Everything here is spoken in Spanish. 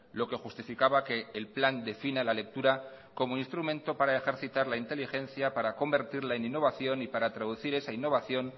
lo que justificaba que el plan defina la lectura como instrumento para ejercitar la inteligencia para convertirla en innovación y para traducir esa innovación